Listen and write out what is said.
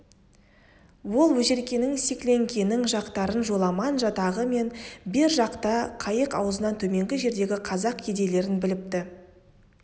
ол өжеркенің секлеңкенің жатақтарын жоламан жатағы мен бер жақта қайық аузынан төменгі жердегі қазақ кедейлерін біліпті